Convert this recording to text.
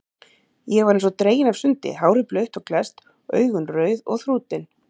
Ég var eins og dregin af sundi, hárið blautt og klesst, augun rauð og þrútin.